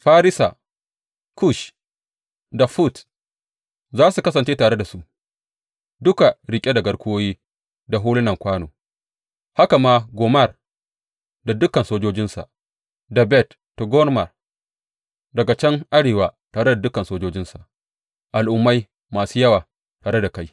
Farisa, Kush da Fut za su kasance tare da su, duka riƙe da garkuwoyi da hulunan kwano, haka ma Gomer da dukan sojojinsa, da Bet Togarma daga can arewa tare da dukan sojojinsa, al’ummai masu yawa tare da kai.